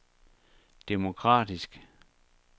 demokratisk